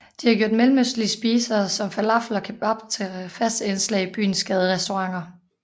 De har gjort mellemøstlige spiser som falafel og kebab til faste indslag i byens gaderestauranter